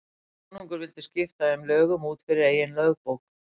Konungur vildi skipta þeim lögum út fyrir eigin lögbók.